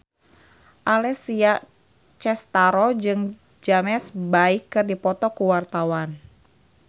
Alessia Cestaro jeung James Bay keur dipoto ku wartawan